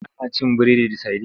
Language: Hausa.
Ana cin biredi da sadin.